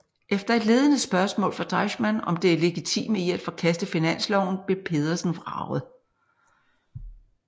Efter et ledende spørgsmål fra Deichmann om det legitime i at forkaste finansloven blev Pedersen vraget